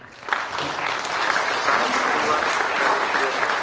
कारण परिवार हा सर्वश्रेय असतो